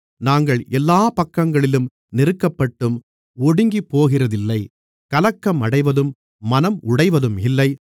நாங்கள் எல்லாப் பக்கங்களிலும் நெருக்கப்பட்டும் ஒடுங்கிப்போகிறதில்லை கலக்கம் அடைவதும் மனம் உடைவதும் இல்லை